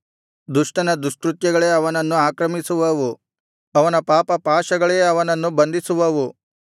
ದುಷ್ಟನ ದುಷ್ಕೃತ್ಯಗಳೇ ಅವನನ್ನು ಆಕ್ರಮಿಸುವವು ಅವನ ಪಾಪಪಾಶಗಳೇ ಅವನನ್ನು ಬಂಧಿಸುವವು